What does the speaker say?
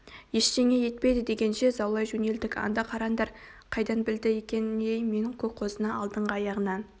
ештеңе етпейді дегенше заулай жөнелдік анда қараңдар қайдан білді екен ей мен көк қозыны алдыңғы аяғынан